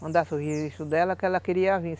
Mandasse o registro dela, que ela queria vir.